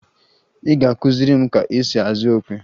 Ị ga-akụziri m ka esi azụ okwe!